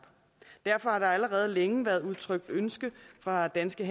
derfor har der allerede længe været udtrykt ønske fra danske